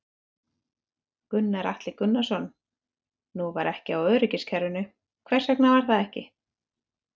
Gunnar Atli Gunnarsson: Nú var ekki á öryggiskerfinu, hvers vegna var það?